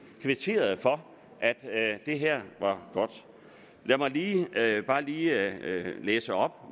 kvitterede for at det her var godt lad mig bare lige læse op